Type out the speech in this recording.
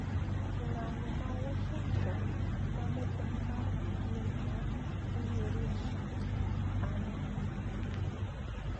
Ng`anyo ma Washing`ton ma ne en mar King ma ong`ere ni "An gi Lek"